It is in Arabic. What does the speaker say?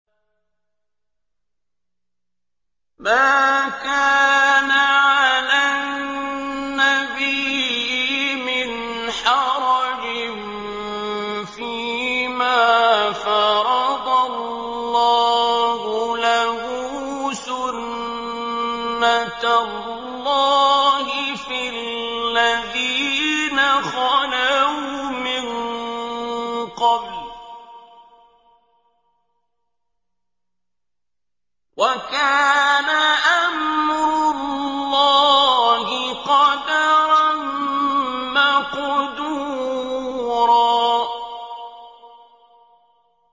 مَّا كَانَ عَلَى النَّبِيِّ مِنْ حَرَجٍ فِيمَا فَرَضَ اللَّهُ لَهُ ۖ سُنَّةَ اللَّهِ فِي الَّذِينَ خَلَوْا مِن قَبْلُ ۚ وَكَانَ أَمْرُ اللَّهِ قَدَرًا مَّقْدُورًا